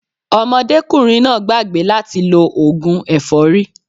Ọmọdékùnrin náà gbàgbé láti lo ògùn ẹ̀fọ́rí